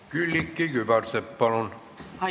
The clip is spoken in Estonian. Külliki Kübarsepp, palun!